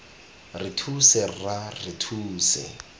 re thuse rra re thuse